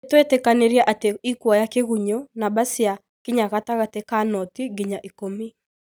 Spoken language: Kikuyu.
nïtwetĩkanĩirie atĩ ĩkuoya kĩgunyũ, namba cia kinya gatagati kaa 0-10